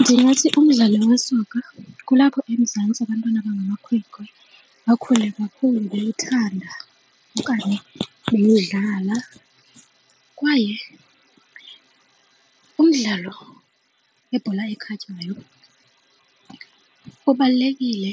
Ndingathi umdlalo wesoka kulapho eMzantsi abantwana abangamakhwenkwe bakhule bewuthanda okanye beyidlala. Kwaye umdlalo webhola ekhatywayo bubalulekile